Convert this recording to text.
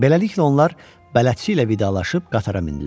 Beləliklə onlar bələdçi ilə vidalaşıb qatara mindilər.